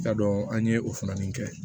I ka dɔn an ye o funɛni kɛ